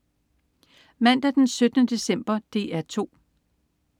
Mandag den 17. december - DR 2: